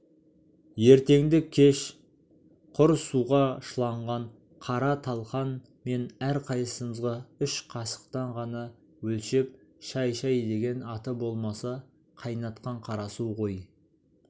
ертеңді-кеш құр суға шыланған қара талқан мен әрқайсымызға үш қасықтан ғана өлшеп шай шай деген аты болмаса қайнатқан қарасу ғой